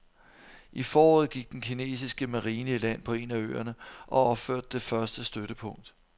I foråret gik den kinesiske marine i land på en af øerne og opførte det første støttepunkt.